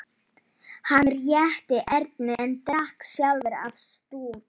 Hann rétti Erni en drakk sjálfur af stút.